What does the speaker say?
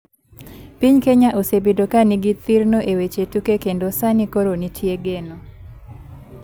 Piny kenya osebedo ka ni gi thirno e weche tuke kendo sani koro nitie geno .